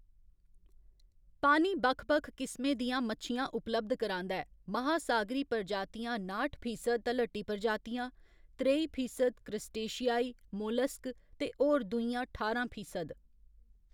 पानी बक्ख बक्ख किसमें दियां मच्छियां उपलब्ध करांदा ऐ, महासागरी प्रजातियां नाठ फीसद तलहटी प्रजातियां त्रई फीसद, क्रस्टेशियाई, मोलस्क ते होर दूइयां ठारां फीसद।